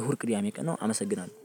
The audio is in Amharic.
እሁድ ቅድሜ ቀን ነው። አመሰግናለሁ።